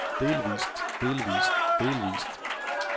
delvist delvist delvist